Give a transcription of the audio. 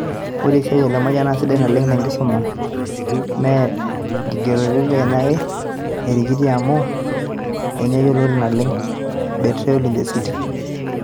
ore esiaai e Lemayian na sidai naleng te nkisuma m e nkigerorete Keya erikiti emuku enye yioloti naleng "Betrayal inn the city"